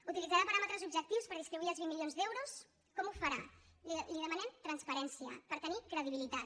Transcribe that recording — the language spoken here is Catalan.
utilitzarà paràmetres objectius per distribuir els vint milions d’euros com ho farà li demanem transparència per tenir credibilitat